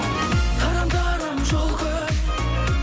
тарам тарам жол көп